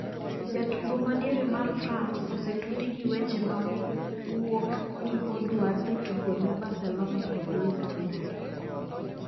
Jatugo madiere mar France osetudi gi weche ma wuok ni odwa dhi tugo ne Barcelona koda Liverpoo.